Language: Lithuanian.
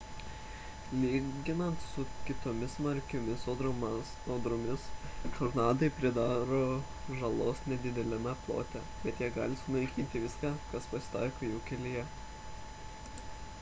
lyginant su kitomis smarkiomis audromis tornadai pridaro žalos nedideliame plote bet jie gali sunaikinti viską kas pasitaiko jų kelyje